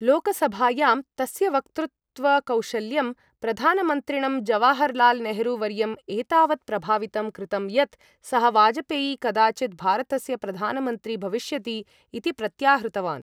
लोकसभायां, तस्य वक्तृत्वकौशल्यं प्रधानमन्त्रिणं जवाहर् लाल् नेहरू वर्यं एतावत् प्रभावितं कृतं, यत् सः, वाजपेयी कदाचित् भारतस्य प्रधानमन्त्री भविष्यति इति प्रत्याहृतवान्।